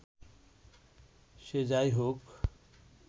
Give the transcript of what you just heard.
সে যাই হোক